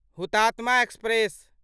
Hutatma express